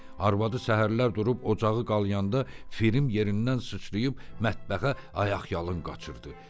Arvadı səhərlər durub ocağı qalayanda Frim yerindən sıçrayıb mətbəxə ayaqyalın qaçırdı.